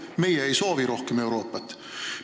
Meie ei soovi rohkem Euroopat.